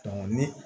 ni